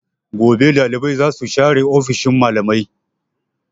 Gobe dalibai za su share ofishin malamai.